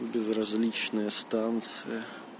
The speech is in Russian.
безразличная станция